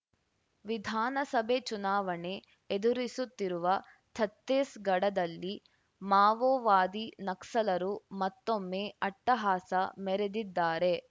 ವಿಧಾನಸಭೆ ಚುನಾವಣೆ ಎದುರಿಸುತ್ತಿರುವ ಛತ್ತೀಸ್‌ಗಢದಲ್ಲಿ ಮಾವೋವಾದಿ ನಕ್ಸಲರು ಮತ್ತೊಮ್ಮೆ ಅಟ್ಟಹಾಸ ಮೆರೆದಿದ್ದಾರೆ